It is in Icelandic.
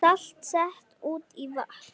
Salt sett út í vatn